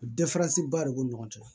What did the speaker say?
ba de b'o ni ɲɔgɔn cɛ